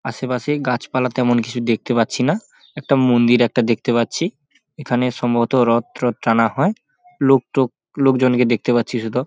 আশেপাশে গাছপালা তেমন কিছু দেখতে পাচ্ছি না একটা মন্দির একটা দেখতে পাচ্ছি। এইখানে সম্ভবত রথ টত টানা হয়। লোকটোক লোকজনকে দেখতে পাচ্ছি শুধু।